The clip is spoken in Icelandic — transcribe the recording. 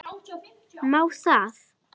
MÁ ÞAÐ????